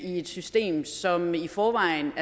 i et system som i forvejen